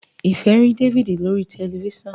Ifẹ rí David lórí tẹlifísàn.